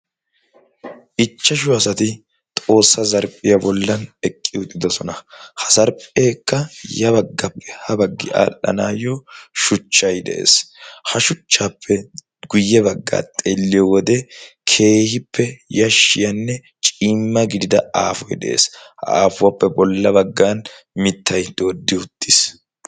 ichchashu asati xoossaa zarphphiyaa bollan eqqi uxidosona ha zarphpheekka ya baggappe ha baggi aadhdhanaayyo shuchchai de7ees ha shuchchaappe guyye baggaa xeelliyo wode keehippe yashshiyaanne ciimma gidida aafoi de7ees ha aafuwaappe bolla baggan mittai dooddi uttiis